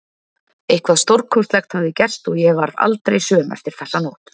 Eitthvað stórkostlegt hafði gerst og ég varð aldrei söm eftir þessa nótt.